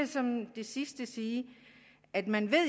som det sidste sige at man